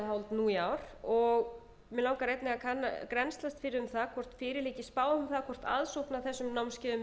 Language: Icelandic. um það að þeir hafa yfirgefið landið núna og maður skyldi þó ætla að aðsókn að þessum námskeiðum